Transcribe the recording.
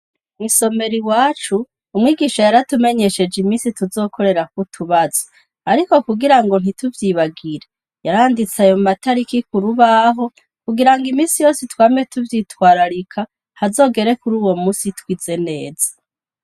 mwisomero iwacu umwigisha yaratumenyesheje iminsi tuzokorerako utubazo ariko kugira ngo ntituvyibagire yaranditse ayo matariki kurubaho kugira ngo iminsi yose twame tuvyitwararika hazogere kuri uwo munsi twize neza